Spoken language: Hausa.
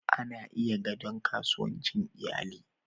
Ana iya gadon kasuwancin iyali.